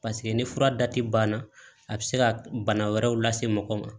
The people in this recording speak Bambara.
ni fura banna a bɛ se ka bana wɛrɛw lase mɔgɔ ma